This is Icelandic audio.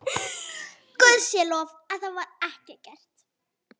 Guði sé lof að það var ekki gert.